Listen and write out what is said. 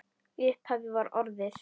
Í upphafi var orðið.